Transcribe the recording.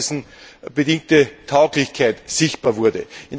auch dessen bedingte Tauglichkeit sichtbar wurde.